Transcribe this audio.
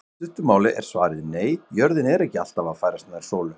Í stuttu máli er svarið nei, jörðin er ekki alltaf að færast nær sólu.